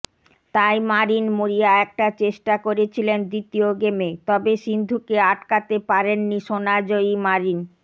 তাই মারিন মরিয়া একটা চেষ্টা করেছিলেন দ্বিতীয় গেমে তবে সিন্ধুকে আটকাতে পারেননি সোনা জয়ী মারিন